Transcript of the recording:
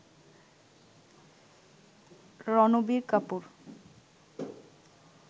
Ranbir Kapoor